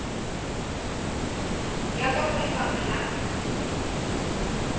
ya kwa go lefapha la